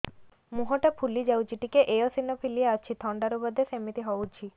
ମୁହଁ ଟା ଫୁଲି ଯାଉଛି ଟିକେ ଏଓସିନୋଫିଲିଆ ଅଛି ଥଣ୍ଡା ରୁ ବଧେ ସିମିତି ହଉଚି